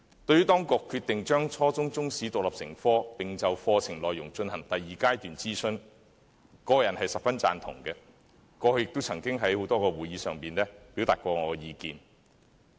對於當局決定將初中中史獨立成科，並就課程內容進行第二階段諮詢，我個人十分贊同，過去也曾在多個會議上表達我的意見。